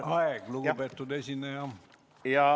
Aeg, lugupeetud esineja!